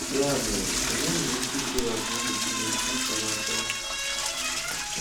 Ya mere, onye nwere ike ikewapụ ụmụ Chineke site n'aka Ya?